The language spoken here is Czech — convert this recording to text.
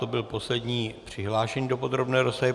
To byl poslední přihlášený do podrobné rozpravy.